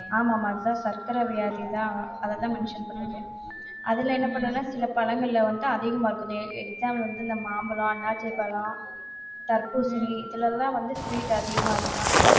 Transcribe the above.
ஆமாம்மா அதுதான் சர்க்கரை வியாதிதான் அதைத்தான் mention பண்ணேன் அதுல என்ன பண்ணணும்னா சில பழங்கள்ல வந்துட்டு அதிகமா இருக்கும் example வந்து இந்த மாம்பழம், அன்னாசி பழம், தர்பூசணி இதுல எல்லாம் வந்து sweet அதிகமா இருக்குமாம்